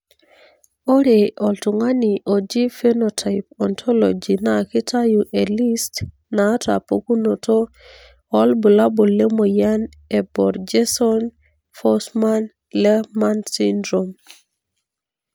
ore oltungani ojii Phenotype Ontology na kitayu elist naata pukunoto olbulabul lemoyian eBorjeson Forssman Lehmann syndrome.